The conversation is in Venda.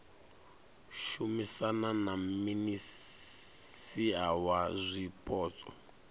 shumisana na minisia wa zwipotso